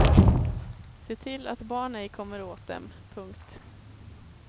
Se till att barn ej kommer åt dem. punkt